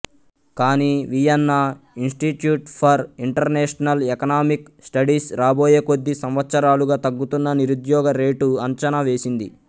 కాని Vienna institute for international economic studies రాబోయే కొద్ది సంవత్సరాలుగా తగ్గుతున్న నిరుద్యోగ రేటు అంచనా వేసింది